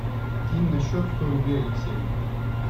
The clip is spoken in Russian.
кинь на счет сто рублей алексею